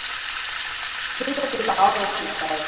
Þriggja bíla árekstur í gær